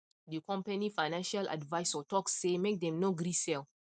the company financial advisor talk say make them no gree sell